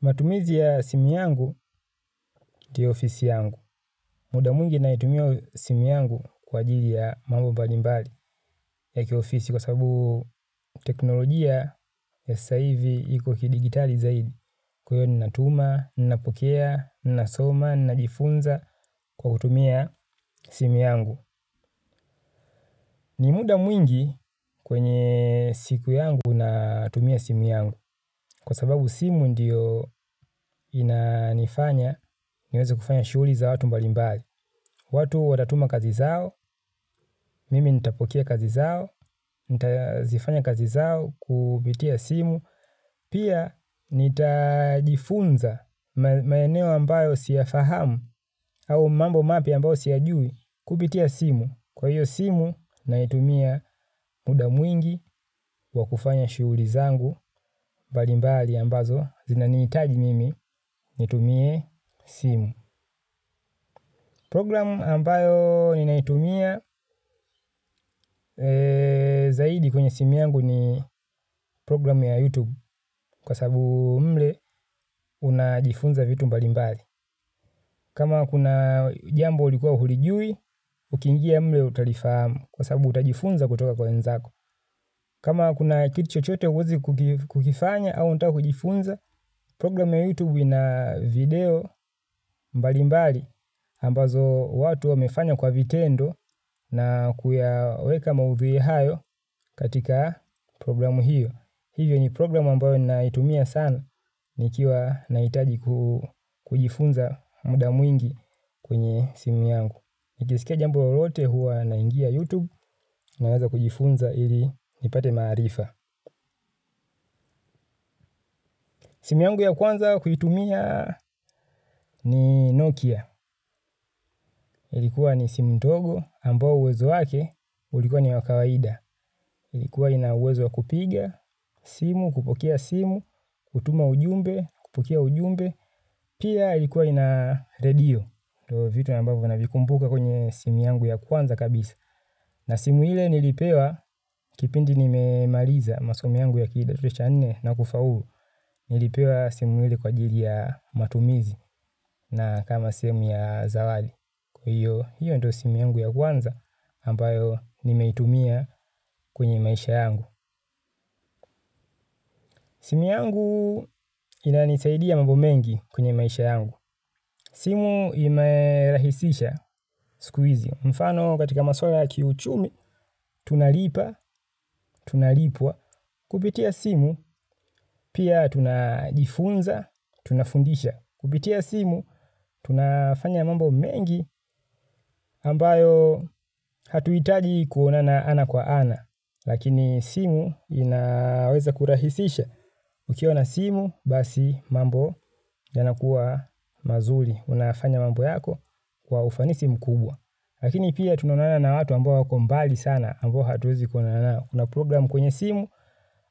Matumizi ya simu yangu ndiyo ofisi yangu. Muda mwingi naitumia simu yangu kwa ajili ya mambo mbalimbali ya kiofisi kwa sababu teknolojia ya sasa hivi iko kidijitali zaidi. Kwa hiyo ninatuma, ninapokea, ninasoma, ninajifunza kwa kutumia simu yangu. Ni muda mwingi kwenye siku yangu natumia simu yangu. Kwa sababu simu ndiyo inanifanya niweze kufanya shughuli za watu mbalimbali. Watu watatuma kazi zao, mimi nitapokea kazi zao, nitazifanya kazi zao kupitia simu. Pia nitajifunza maeneo ambayo siyafahamu au mambo mapya ambayo siyajui kupitia simu. Kwa hiyo simu naitumia muda mwingi wa kufanya shughuli zangu mbalimbali ambazo zinanihitaji mimi nitumie simu. Programu ambayo ninaitumia zaidi kwenye simu yangu ni programu ya YouTube kwa sababu mle unajifunza vitu mbalimbali. Kama kuna jambo ulikuwa haulijui, ukiingia mle utalifamu kwa sababu utajifunza kutoka kwa wenzako. Kama kuna kitu chochote huwezi kukifanya au unataka kujifunza, programu ya YouTube ina video mbalimbali. Ambazo watu wamefanya kwa vitendo na kuyaweka maudhui hayo katika programu hiyo. Hivyo ni programu ambayo ninayoitumia sana nikiwa nahitaji kujifunza muda mwingi kwenye simu yangu. Nikisikia jambo lolote huwa naingia YouTube naweza kujifunza ili nipate maarifa. Simu yangu ya kwanza kuitumia ni Nokia. Ilikuwa ni simu ndogo ambayo uwezo wake ulikuwa ni wa kawaida. Ilikuwa ina uwezo wa kupiga simu, kupokea simu, kutuma ujumbe, kupokea ujumbe. Pia ilikuwa ina redio. Ndiyo vitu ambavyo navikumbuka kwenye simu yangu ya kwanza kabisa. Na simu ile nilipewa kipindi nimemaliza masomo yangu ya kidato cha nne na kufaulu. Nilipewa simu ile kwa ajili ya matumizi na kama simu ya zawadi. Kwa hiyo, hiyo ndiyo simu yangu ya kwanza ambayo nimeitumia kwenye maisha yangu. Simu yangu inanisaidia mambo mengi kwenye maisha yangu. Simu imerahisisha siku hizi. Mfano katika maswala ya kiuchumi, tunalipa, tunalipwa. Kupitia simu, pia tunajifunza, tunafundisha. Kupitia simu, tunafanya mambo mengi ambayo hatuhitaji kuonana ana kwa ana. Lakini simu inaweza kurahisisha. Ukiwa na simu basi mambo yanakuwa mazuri unafanya mambo yako kwa ufanisi mkubwa lakini pia tunaonana na watu ambao wako mbali sana ambao hatuwezi kuonana nao kuna programu kwenye simu